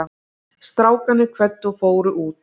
Strákarnir kvöddu og fóru út.